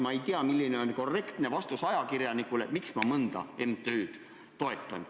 Ma ei tea, milline oleks korrektne vastus ajakirjanikule, miks ma mõnda MTÜ-d toetan.